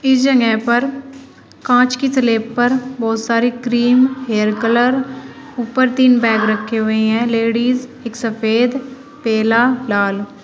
इस जंगह पर कांच की स्लेब पर बहोत सारी क्रीम हेयर कलर ऊपर तीन बैग रखे हुए हैं लेडीज एक सफेद पीला लाल।